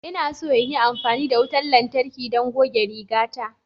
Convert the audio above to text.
Ina so in yi amfani da wutar lantarki don goge rigata.